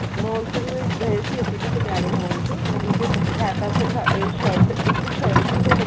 mall ਚ ਵੀ ਗਏ ਸੀ ਅਸੀਂ city ਪਟਿਆਲੇ ਮਾਲ ਚ ਮਤਲਬ ਹੈ ਤਾਂ ਉੱਥੇ ਅਮ shirt ਇੱਕ shirt ਹੀ ਲੈਲੋ